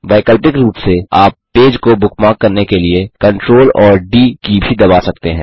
वैकल्पिक रूप से आप पेज को बुकमार्क करने के लिए CTRL और डी की भी दबा सकते हैं